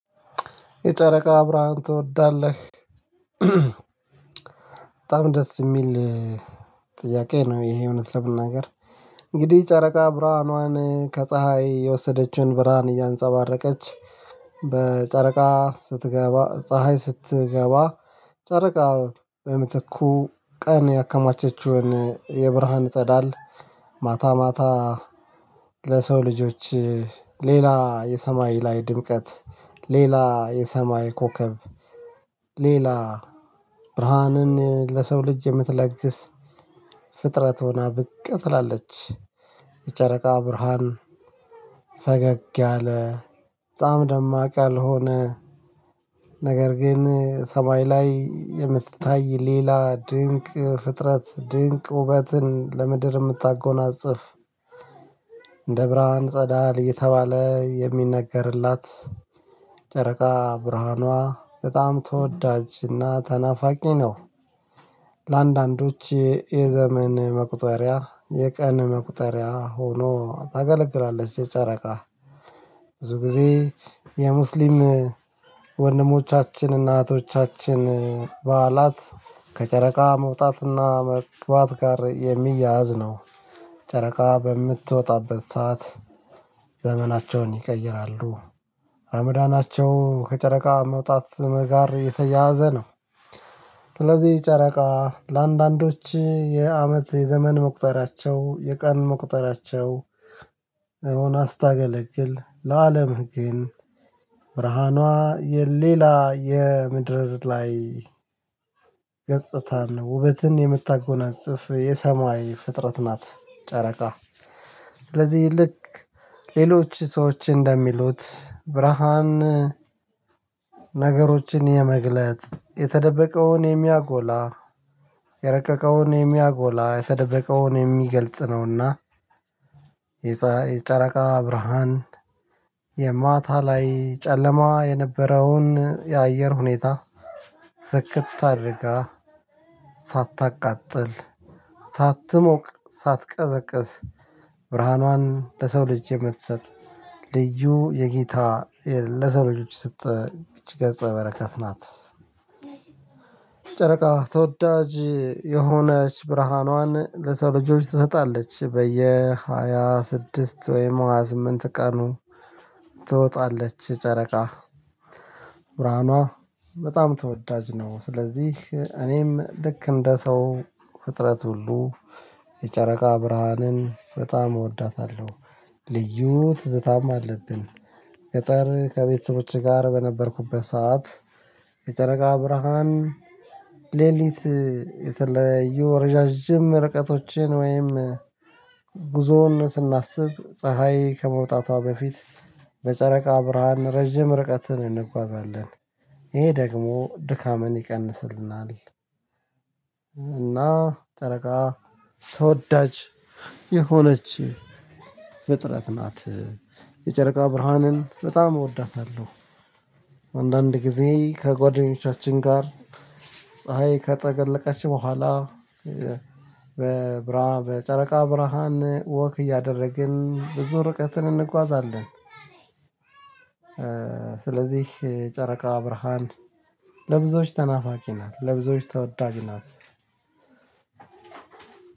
የጨረቃ አብራሃም ትወዳለህ? በጣም ደስ የሚል ጥያቄ ነው ይሄ እውነት ለመናገር እንግዲህ ጨረቃ ብርሃኗን ከፀሀይ የወሰደችውን ብርሃን እያንፀባረቀች በጨረቃ ስትገባ ፀሀይ ስትገባ ጨረቃ በምትኩ ቀን ያከማቸችውን የብርሃን ጸዳል ማታ ማታ ለሰው ልጆች ሌላ የሰማይ ላይ ድምቀት ሌላ የሰማይ ኮከብ ሌላ ብርሃንን ለሰው ልጅ የምትለግስ ፍጥረት ሆና ብቅ ትላለች፤ የጨረቃ ብርሃን ፈገግ ያለ በጣም ደማቅ ያልሆነ ነገር ግን ሰማይ ላይ የምትታይ ሌላ ድንቅ ፍጥረት ድንቅ ውበትን ለምድር የምታጎናጽፍ እንደ ብርሃን ጸዳል የተባለ የሚነገርላት ጨረቃ ብርሃኗ በጣም ተወዳጅና ተናፋቂ ነው፤ ለአንዳንዶች የዘመን መቁጠሪያ የቀን መቁጠሪያ ሆኖ ታገለግላለች የጨረቃ ብዙ ጊዜ የሙስሊም ወንድሞቻችን እናቶቻችን በዓላት ከጨረቃ መውጣትና መግባት ጋር የሚያያዝ ነው፤ ጨረቃ በምትወጣበት ሰዓት ዘመናቸውን ይቀይራሉ አምዳናቸው ከጨረቃ መውጣት ጋር የተያያዘ ነው ስለዚህ ጨረቃ ለአንዳንዶች የአመት የዘመን መቁጠራቸው የቀን መቁጠራቸው ሆና ስታገለግል ለአለምህ ግን ብርሃኗ የሌላ የምድር ላይ ገጽታን ውበትን የምታጎናጽፍ የሰማይ ፍጥረት ናት ጨረቃ። ስለዚህ ልክ ሌሎች ሰዎች እንደሚሉት ብርሃን ነገሮችን የመግለጥ የተደበቀውን የሚያጎላ የረቀቀውን የሚያጎላ የተደበቀውን የሚገልጽ ነውና የፀሀይ የጨረቃ ብርሃን የማታ ላይ ጨለማ የነበረውን የአየር ሁኔታ ፍክት አድርጋ ሳታቃጥል ሳትሞቅ ሳትቀዘቅዝ ብርሃኗን ለሰው ልጅ የምትሰጥ ልዩ የጌታ ለሰው ልጅ የሰጠ ይች ገጸ በረከት ናት ጨረቃ ተወዳጅ የሆነች ብርሃኗን ለሰው ልጆች ትሰጣለች በየሃያ ስድስት ወይም ሃያ ስምንት ቀኑ ትወጣለች ጨረቃ ብርሃኗ በጣም ተወዳጅ ነው ስለዚህ እኔም ልክ እንደ ሰው ፍጥረት ሁሉ የጨረቃ ብርሃንን በጣም እወዳታለሁ ልዩ ትዝታም አለብን ገጠር ከቤተሰቦቼ ጋር በነበርኩበት ሰዓት የጨረቃ ብርሃን ሌሊት የተለያዩ ረዣዥም ርቀቶችን ወይም ጉዞውን ስናስብ ፀሀይ ከመውጣቷ በፊት በጨረቃ ብርሃን ረጅም ርቀትን እንጓዛለን ይሄ ደግሞ ድካምን ይቀንስልናል፤ እና ጨረቃ ተወዳጅ የሆነች ፍጥረት ናት፤ የጨረቃ ብርሃንን በጣም እወዳታለሁ አንዳንድ ጊዜ ከጓደኞቻችን ጋር ፀሀይ ከጠለቀች በኋላ በብራ በጨረቃ ብርሃን ወክ እያደረግን ብዙ ርቀትን እንጓዛለን ስለዚህ ጨረቃ ብርሃን ለብዙዎች ተናፋቂ ናት፤ ለብዙዎች ተወዳጅ ናት